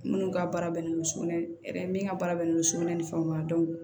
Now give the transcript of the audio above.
Minnu ka baara bɛnnen don sugunɛ hɛrɛ min ka baara bɛnnen don sugunɛ ni fɛnw ma